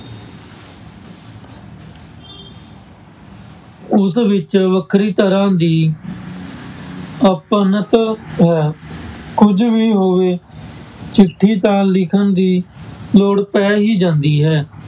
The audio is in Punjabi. ਉਸ ਵਿੱਚ ਵੱਖਰੀ ਤਰ੍ਹਾਂ ਦੀ ਅਪਣੱਤ ਹੈ ਕੁੱਝ ਵੀ ਹੋਵੇ ਚਿੱਠੀ ਤਾਂ ਲਿਖਣ ਦੀ ਲੋੜ ਪੈ ਹੀ ਜਾਂਦੀ ਹੈ।